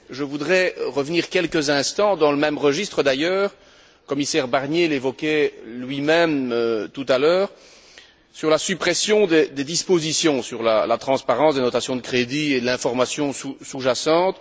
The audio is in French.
Je voudrais revenir quelques instants, dans le même registre d'ailleurs le commissaire Barnier l'évoquait lui même tout à l'heure sur la suppression des dispositions sur la transparence des notations de crédit et de l'information sous jacente.